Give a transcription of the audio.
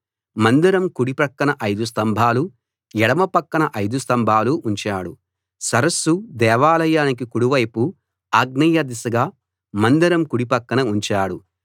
మందిరం కుడి పక్కన 5 స్తంభాలు ఎడమ పక్కన 5 స్థంభాలు ఉంచాడు సరస్సు దేవాలయానికి కుడి వైపు ఆగ్నేయ దిశగా మందిరం కుడి పక్కన ఉంచాడు